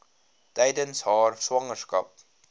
tydens haar swangerskap